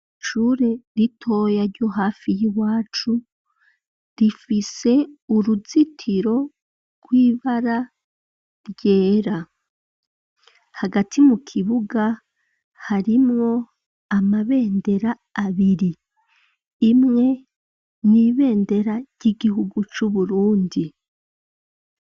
Ishure ritoya ryo hafi y'iwacu, rifise uruzitiro rw'ibara ryera; hagati mu kibuga, harimwo amabendera abiri; imwe, ni ibendera ry'igihugu c'Uburundi.